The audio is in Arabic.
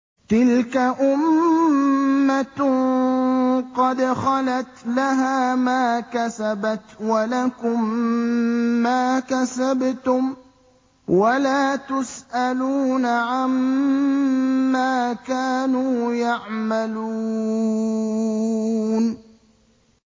تِلْكَ أُمَّةٌ قَدْ خَلَتْ ۖ لَهَا مَا كَسَبَتْ وَلَكُم مَّا كَسَبْتُمْ ۖ وَلَا تُسْأَلُونَ عَمَّا كَانُوا يَعْمَلُونَ